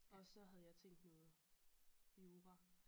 Og så havde jeg tænkt noget jura